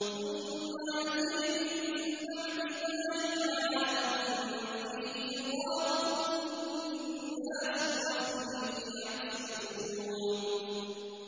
ثُمَّ يَأْتِي مِن بَعْدِ ذَٰلِكَ عَامٌ فِيهِ يُغَاثُ النَّاسُ وَفِيهِ يَعْصِرُونَ